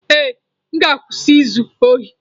Ee, m ga-akwụsị izu ohi.